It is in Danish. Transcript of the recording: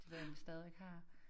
Det ved jeg ikke om vi stadigvæk har